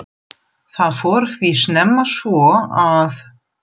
Það fór því snemma svo, að